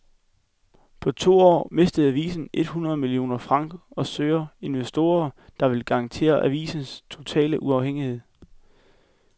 På to år mistede avisen et hundrede millioner franc og søger investorer, der vil garantere avisens totale uafhængighed.